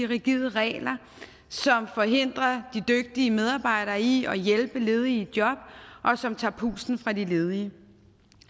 rigide regler som forhindrer de dygtige medarbejdere i at hjælpe ledige i job og som tager pusten fra de ledige